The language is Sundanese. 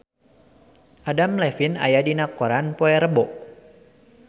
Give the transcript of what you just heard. Adam Levine aya dina koran poe Rebo